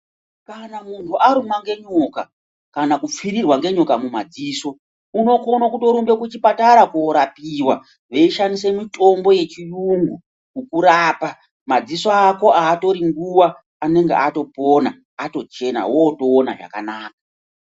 Kana muntu arumwa ngenyoka kana kupfirirwa ngenyoka mumadziso ukone kuto kurumbe kuchipatara korapapiwa veishandisa mitombo yechiyungu kukurapa madziso ako atori nguwa anenge atopona atochena otoona zvakanaka.